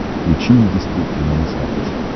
включи индийское кино на смотрешке